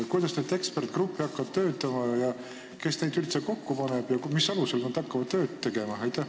Kuidas need eksperdigrupid töötama hakkavad, kes neid üldse kokku paneb ja mis alusel nad hakkavad tööd tegema?